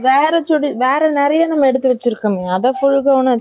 வேற chudi , வேற நம்ப எடுத்து வச்சி இருக்கோம்ங்க, அதை நம்ம full gown ஆ.